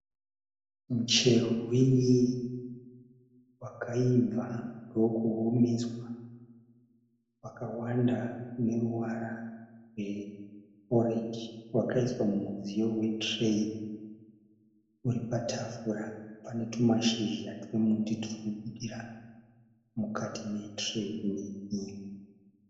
Muchero wen'i wakaibva ndokuomeswa, wakawanda une ruvara rweorenji, wakaiswa mumudziyo wetureyi uri patafura, pane tumashizha twemiti turi kubudira mukati metureyi iyi